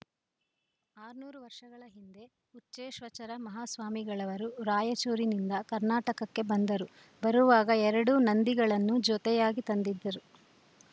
ಆರುನೂರು ವರ್ಷಗಳ ಹಿಂದೆ ಹುಚ್ಚೆಶ್ವಚರ ಮಹಾಸ್ವಾಮಿಗಳವರು ರಾಯಚೂರಿನಿಂದ ಕರ್ನಾಟಕಕ್ಕೆ ಬಂದರು ಬರುವಾಗ ಎರಡು ನಂದಿಗಳನ್ನು ಜೊತೆಯಾಗಿ ತಂದಿದ್ದರು